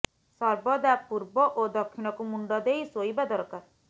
ସର୍ବଦା ପୂର୍ବ ଓ ଦକ୍ଷିଣକୁ ମୁଣ୍ଡ ଦେର ଶୋଇବା ଦରକାର